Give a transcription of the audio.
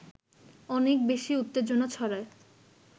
অনেক বেশি উত্তেজনা ছড়ায়